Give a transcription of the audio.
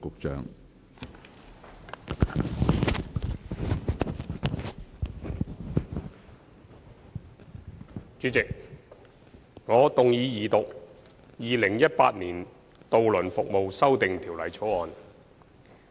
主席，我動議二讀《2018年渡輪服務條例草案》。